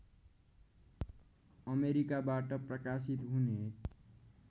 अमेरिकाबाट प्रकाशित हुने